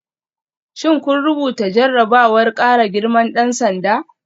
Shin kun rubuta jarrabawar kara girman dan sanda?